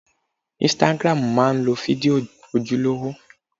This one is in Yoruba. Ísítágírámù má ń lo fídíò ojúlówó